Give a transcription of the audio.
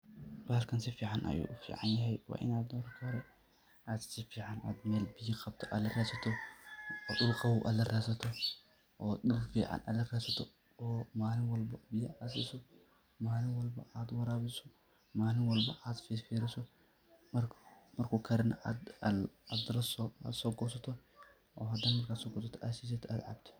Bahalkan sifican ayu uficanyahy wa inad marki hore ad sifican oo biya qabto adla radsato oo dul qabow ad laradsato, ad dul fican ad laradsato, malin walbo biyo ad siso malin walbo ad warabiso malin walbo ad firfiriso marku karo nah ad sogurato.